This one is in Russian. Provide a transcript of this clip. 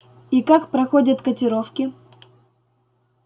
и как проходят котировки